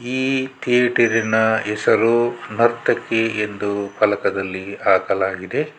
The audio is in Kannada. ಈ ಥೀಯೇಟರ್ನ ಹೆಸರು ನರ್ತಕಿ ಎಂದು ಫಲಕದಲ್ಲಿ ಹಾಕಲಾಗಿದೆ.